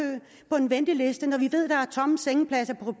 på en venteliste når vi ved at der er tomme sengepladser